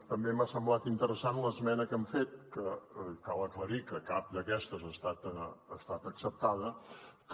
també m’ha semblat interessant l’esmena que han fet que cal aclarir que cap d’aquestes ha estat acceptada que